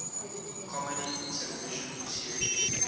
comedy television series